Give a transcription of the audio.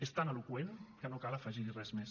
és tan eloqüent que no cal afegir hi res més